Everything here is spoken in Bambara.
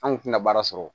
An kun tɛna baara sɔrɔ